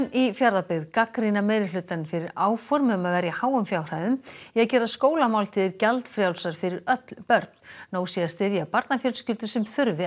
í Fjarðabyggð gagnrýna meirihlutann fyrir áform um að verja háum fjárhæðum í að gera skólamáltíðir gjaldfrjálsar fyrir öll börn nóg sé að styðja barnafjölskyldur sem þurfi